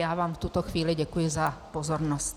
Já vám v tuto chvíli děkuji za pozornost.